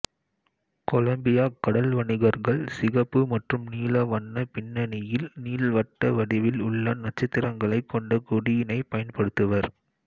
Colombia கடல் வணிகர்கள் சிகப்பு மற்றும் நீல வண்ண பிண்ணனியில் நீள்வட்ட வடிவில் உள்ள நட்சத்திரங்களை கொண்ட கொடியினை பயன்படுத்துவர்